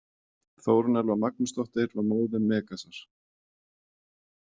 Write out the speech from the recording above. Þórunn Elfa Magnúsdóttir var móðir Megasar.